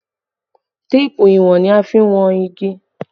Téèpù ìwọ̀n ni a fi n wọn igi